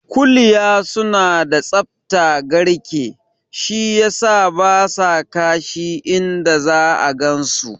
Kuliya suna da tsaftar garke, shi yasa basa kashi inda za'a gansu su